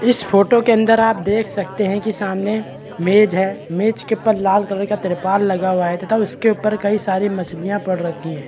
इस फोटो के अंदर आप देख सकते है कि सामने मेज है मेज के ऊपर लाला कलर का तिरपाल लगा हुआ है तथा उसके ऊपर कई सारी मछलियाँ पड़ रखी हैं।